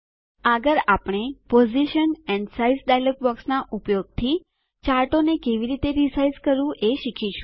આગળ આપણે position and size dialog બોક્સનાં ઉપયોગથી ચાર્ટોને કેવી રીતે રીસાઈઝ કરવું એ શીખીશું